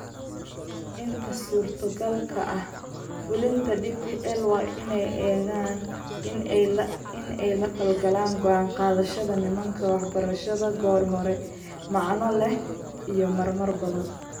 Inta suurtogalka ah, fulinta DPL waa in ay eegaan in ay la falgalaan go'aan-qaadayaasha nidaamka waxbarashada goor hore, macno leh, iyo marar badan.